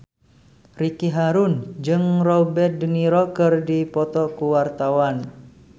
Ricky Harun jeung Robert de Niro keur dipoto ku wartawan